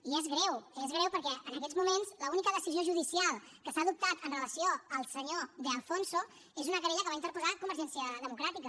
i és greu és greu perquè en aquests moments l’única decisió judicial que s’ha adoptat amb relació al senyor de alfonso és una querella que va interposar convergència democràtica